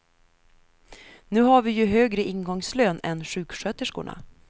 Nu har vi ju högre ingångslön än sjuksköterskorna.